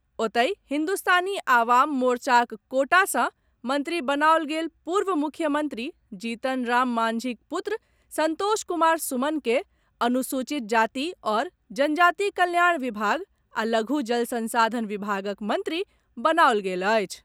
ओतहि, हिन्दुस्तानी आवाम मोर्चाक कोटा सँ मंत्री बनाओल गेल पूर्व मुख्यमंत्री जीतन राम मांझीक पुत्र संतोष कुमार सुमन के अनुसूचित जाति आओर जनजाति कल्याण विभाग आ लघु जलसंसाधन विभागक मंत्री बनाओल गेल अछि।